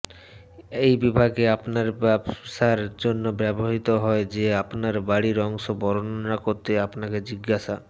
এই বিভাগে আপনার ব্যবসার জন্য ব্যবহৃত হয় যে আপনার বাড়ির অংশ বর্ণনা করতে আপনাকে জিজ্ঞাসা